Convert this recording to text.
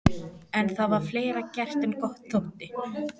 En það var fleira gert en gott þótti.